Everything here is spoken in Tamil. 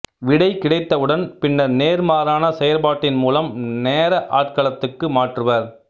விடை கிடைத்தவுடன் பின்னர் நேர்மாறான செயற்பாட்டின் மூலம் நேர ஆட்களத்துக்கு மாற்றுவர்